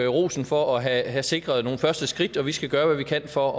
rosen for at have sikret nogle første skridt og vi skal gøre hvad vi kan for